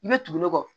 I bɛ tugu ne kɔ